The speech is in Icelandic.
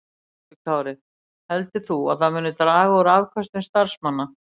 Höskuldur Kári: Heldur þú að það muni draga úr afköstum starfsmanna?